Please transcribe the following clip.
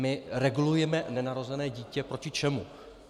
My regulujeme nenarozené dítě proti čemu?